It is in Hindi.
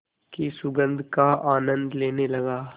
की सुगंध का आनंद लेने लगा